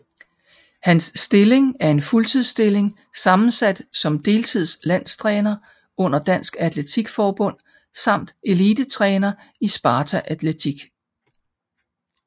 Hans stilling er en fuldtidsstilling sammensat som deltids landstræner under Dansk Atletik Forbund samt elitetræner i Sparta Atletik